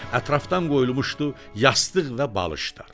Ətrafdan qoyulmuşdu yastıq və balışlar.